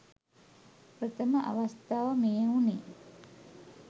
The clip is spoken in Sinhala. ප්‍රථම අවස්ථාව මෙය වුණි.